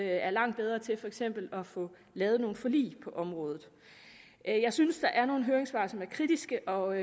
er langt bedre til for eksempel at få lavet nogle forlig på et område jeg synes der er nogle høringssvar som er kritiske og